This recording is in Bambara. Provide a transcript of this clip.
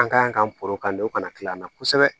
An kan porokan de ka na kila an na kosɛbɛ